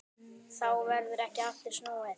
Þá verður ekki aftur snúið.